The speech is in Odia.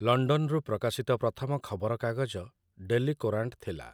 ଲଣ୍ଡନରୁ ପ୍ରକାଶିତ ପ୍ରଥମ ଖବରକାଗଜ 'ଡେଲି କୋରାଂଟ' ଥିଲା ।